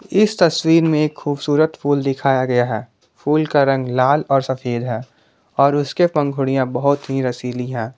इस तस्वीर में एक खूबसूरत फूल दिखाया गया है फूल का रंग लाल और सफेद है और उसके पंखुड़ियां बहुत ही रसीली है।